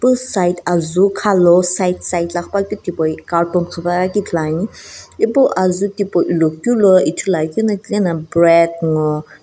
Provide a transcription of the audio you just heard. side azuu khalau side side la qhipuakeu tipau ye carton qhipepuakeu ithuluani ipu azuu tipau ilokeu lo Ithuluakeu no tilena bread ngo.